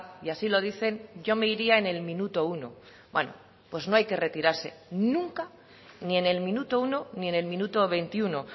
y así lo dicen yo me iría en el minuto uno bueno pues no hay que retirarse nunca ni en el minuto uno ni en el minuto veintiuno